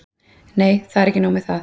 Nei, það er ekki nóg með það.